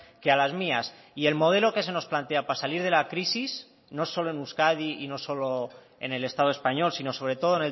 que a las mías y el modelo que se nos plantea para salir de la crisis no solo en euskadi y no solo en el estado español sino sobre todo